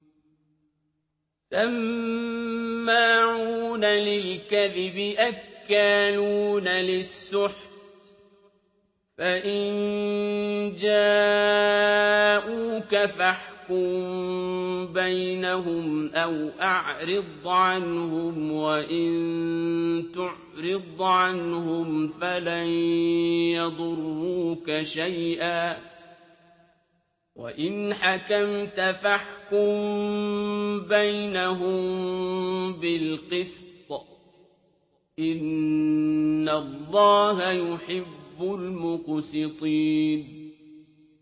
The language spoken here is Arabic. سَمَّاعُونَ لِلْكَذِبِ أَكَّالُونَ لِلسُّحْتِ ۚ فَإِن جَاءُوكَ فَاحْكُم بَيْنَهُمْ أَوْ أَعْرِضْ عَنْهُمْ ۖ وَإِن تُعْرِضْ عَنْهُمْ فَلَن يَضُرُّوكَ شَيْئًا ۖ وَإِنْ حَكَمْتَ فَاحْكُم بَيْنَهُم بِالْقِسْطِ ۚ إِنَّ اللَّهَ يُحِبُّ الْمُقْسِطِينَ